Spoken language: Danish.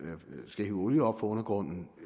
skal hive olie op fra undergrunden